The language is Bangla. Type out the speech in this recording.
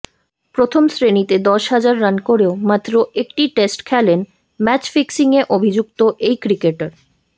প্রথম শ্রেণিতে দশ হাজার রান করেও মাত্র একটি টেস্ট খেলেন ম্যাচ ফিক্সিংয়ে অভিযুক্ত এই ক্রিকেটার